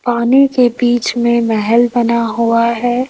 पानी के बीच में महल बना हुआ है।